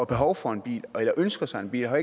behov for en bil eller ønske sig en bil har